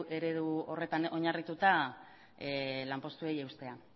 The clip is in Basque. eredu horretan oinarrituta lanpostuei eustea